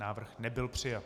Návrh nebyl přijat.